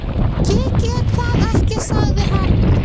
Ég get það ekki sagði hann.